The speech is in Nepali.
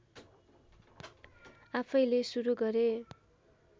आफैंले सुरु गरे